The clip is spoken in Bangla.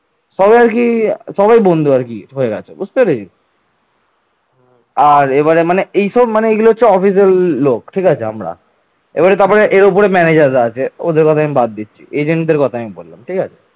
এবারে তারপরে এর উপরে manager আছে। ওদের কথা আমি বাদ দিচ্ছি, agent র কোথায় বললাম ঠিক আছে